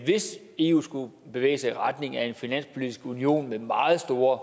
hvis eu skulle bevæge sig i retning af en finanspolitisk union med meget store